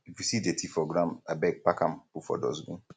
if you see dirty for ground abeg pack am put for dustbin